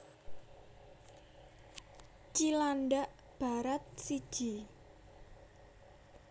Cilandak Barat siji